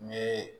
N ye